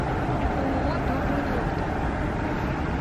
ооо добрый доктор